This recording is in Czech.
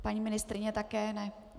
Paní ministryně také ne.